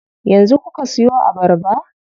Yanzu kuka siyo abarba?